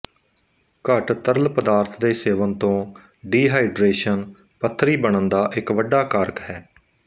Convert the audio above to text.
ਘੱਟ ਤਰਲ ਪਦਾਰਥ ਦੇ ਸੇਵਨ ਤੋਂ ਡੀਹਾਈਡਰੇਸ਼ਨ ਪੱਥਰੀ ਬਣਨ ਦਾ ਇੱਕ ਵੱਡਾ ਕਾਰਕ ਹੈ